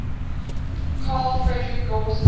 carl friedrich gauss